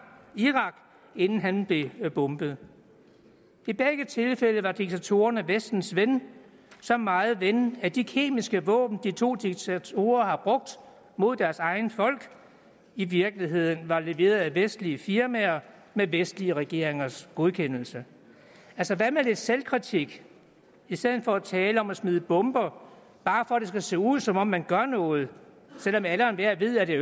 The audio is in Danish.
inden han blev bombet i begge tilfælde var diktatorerne vestens venner så meget venner at de kemiske våben de to diktatorer har brugt mod deres egne folk i virkeligheden var leveret af vestlige firmaer med vestlige regeringers godkendelse altså hvad med lidt selvkritik i stedet for at tale om at smide bomber bare for at det skal se ud som om man gør noget selv om alle og enhver ved at det